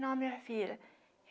Não, minha filha.